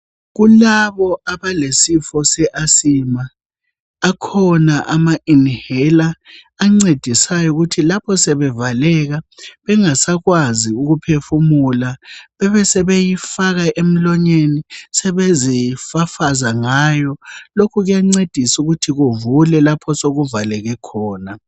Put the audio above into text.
Kulabo abalesifo sofuba akhona ama inhaler ancedisayo ukuthi lapho sebevalekile bengasakwanisi ukuphefumula bebesebeyifaka emlonyeni sebezifafaza ngayo lokhu kuyancedisa ukuthi kuvule lapho osokuvaleke khona.